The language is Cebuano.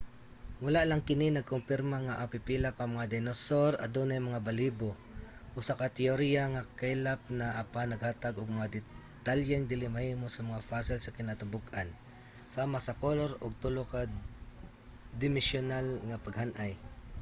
wala lang kini nagkumpirma nga ang pipila ka mga dinosaur adunay mga balahibo usa ka teyorya nga kaylap na apan naghatag og mga detalyeng dili mahimo sa mga fossil sa kinatibuk-an sama sa kolor ug tulo-ka-dimesyunal nga paghan-ay